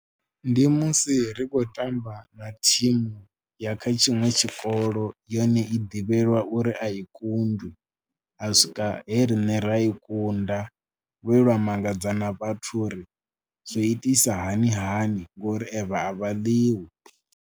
Ndi musi ri khou tamba na thimu ya kha tshiṅwe tshikolo yone i ḓivhelwa uri a i kundwi, ha swika he riṋe ra i kunda vhe lwa mangadza na vhathu uri zwo itisa hani hani ngori evha a vha ḽiwi.